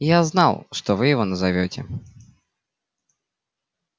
я знал что вы его назовёте